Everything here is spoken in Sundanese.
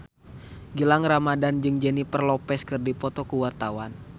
Gilang Ramadan jeung Jennifer Lopez keur dipoto ku wartawan